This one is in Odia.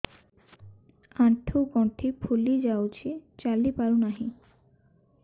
ଆଂଠୁ ଗଂଠି ଫୁଲି ଯାଉଛି ଚାଲି ପାରୁ ନାହିଁ